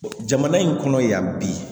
Jamana in kɔnɔ yan bi